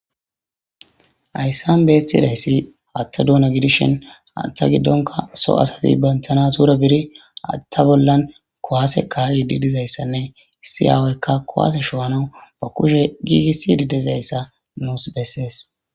Hayssan beethidayssi atta duuna gidishen attha giddonka so asati banthana tura biri atta bollan kowaase kaa7idi dizayssanne issi aawoykka kowase showanawu ba kushe giigissi didizayssa nuus bessees